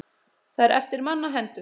Það er eftir manna hendur.